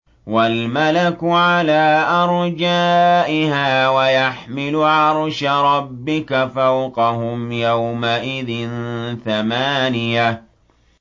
وَالْمَلَكُ عَلَىٰ أَرْجَائِهَا ۚ وَيَحْمِلُ عَرْشَ رَبِّكَ فَوْقَهُمْ يَوْمَئِذٍ ثَمَانِيَةٌ